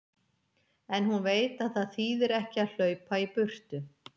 En hún veit að það þýðir ekki að hlaupa í burtu.